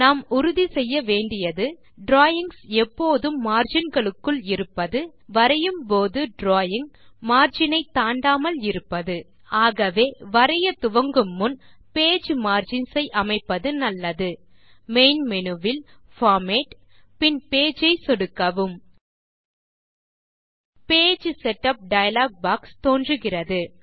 நாம் உறுதி செய்ய வேண்டியது டிராவிங்ஸ் எப்போதும் மார்ஜின் களுக்குள் இருப்பது வரையும் போது டிராவிங் margin ஐ தாண்டாமல் இருப்பது ஆகவே வரைய துவங்கும் முன் பேஜ் மார்ஜின்ஸ் ஐ அமைப்பது நல்லது மெயின் மேனு வில் பார்மேட் பின் பேஜ் ஐ சொடுக்கவும் பேஜ் செட்டப் டயலாக் பாக்ஸ் தோன்றுகிறது